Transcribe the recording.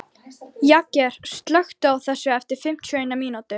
Jagger, slökktu á þessu eftir fimmtíu og eina mínútur.